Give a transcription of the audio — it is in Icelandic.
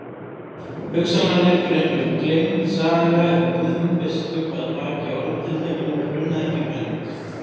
Hugsanlega liggur einhver gleymd saga um Guðmund biskup að baki orðatiltækinu grunaði ekki Gvend.